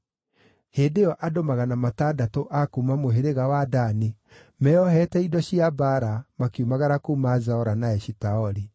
Hĩndĩ ĩyo andũ magana matandatũ a kuuma mũhĩrĩga wa Dani, meeohete indo cia mbaara, makiumagara kuuma Zora na Eshitaoli.